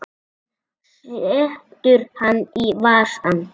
Hún setur hann í vasann.